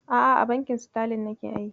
A'a, a bankin Sitalin nake aiki.